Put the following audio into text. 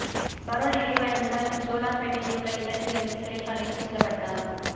parole நிறைவடைந்ததால் ஜோலார்பேட்டையில் உள்ள இல்லத்தில் இருந்து சிறைக்கு அழைத்துச் செல்லப்பட்டார்